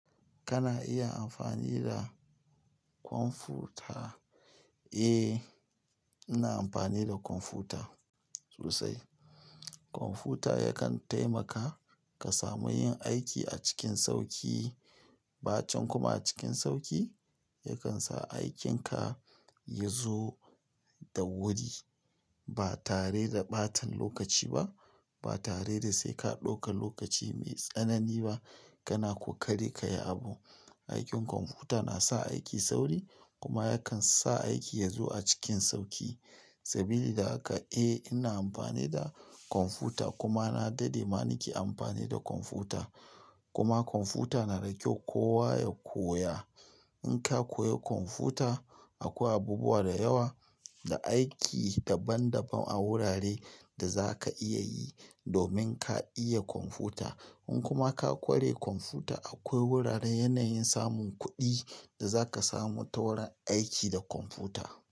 Kana iya amfani da kwamfuta? Eh, ina amfani da kwamfuta sosai. Kwamfuta yakan taimaka ka samu yin aiki a cikin sauƙi, ɓacin kuma a cikin sauƙi. Yakan sa aikinka ya zo da wuri ba tare da ɓatan lokaci ba, ba tare da sai ka ɗauka lokaci mai tsanani ba. Kana kokari kayi abu aikin kwamfuta nasa aiki sauri kuma yakansa aiki yazo a cikin sauƙi. Sabilida haka eh ina amfani da kwamfuta kuma na daɗe ma nake amfani da kwamfuta. Kuma kwamfuta na ragewa kowa ya koya. In ka koya kwamfuta akwai abubuwa da yawa da aiki daban daban a wurare da za ka iya yi domin ka iya kwamfuta. In kuma ka ƙware kwamfuta akwai wuraren yanayin samun kuɗi da zaka samu ta wurin aiki da kwamfuta.